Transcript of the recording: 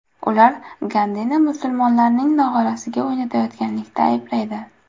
Ular Gandini musulmonlarning nog‘orasiga o‘ynayotganlikda ayblaydi.